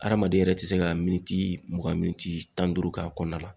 Hadamaden yɛrɛ ti se ka mugan tan ni duuru k'a kɔnɔna la.